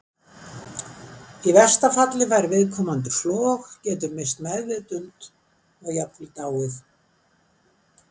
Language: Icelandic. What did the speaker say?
Í versta falli fær viðkomandi flog, getur misst meðvitund og jafnvel dáið.